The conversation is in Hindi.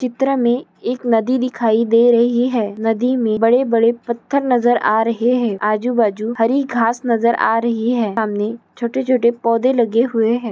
चित्र मे एक नदी दिखयी दे रही है नदी मे बडे बडे पथार नजर आ रहे है आजु बाजु हरि घास नजर आ रही है सामने छोटे-छोटे पौधे लगे हुए है